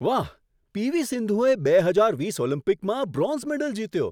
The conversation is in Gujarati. વાહ, પીવી સિંધુએ બે હજાર વીસ ઓલિમ્પિકમાં બ્રોન્ઝ મેડલ જીત્યો.